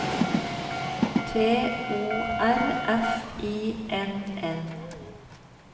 T O R F I N N